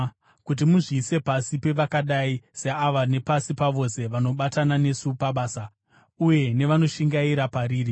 kuti muzviise pasi pevakadai seava nepasi pavose vanobatana nesu pabasa, uye nevanoshingaira pariri.